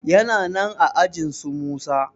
yana nan aajinsu musa